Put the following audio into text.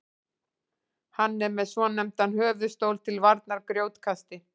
hann er með svonefndan höfuðstól til varnar grjótkasti